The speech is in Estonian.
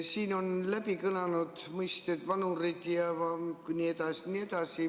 Siin on kõlanud mõisted "vanurid" jne, jne.